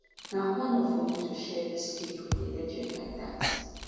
na honour for me to share dis cage wit a legend like dat